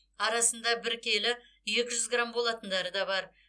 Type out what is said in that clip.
арасында бір келі екі жүз грамм болатындары да бар